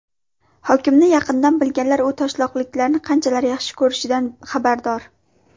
Hokimni yaqindan bilganlar u toshloqliklarni qanchalik yaxshi ko‘rishidan xabardor.